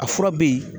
A fura bɛ ye